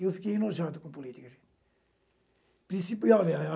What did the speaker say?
Eu fiquei enojado com política, gente. Princi e olha